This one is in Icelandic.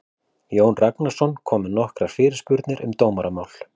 Jón Ragnarsson kom með nokkrar fyrirspurnir um dómaramál.